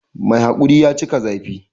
Mai haƙuri ya cika zafi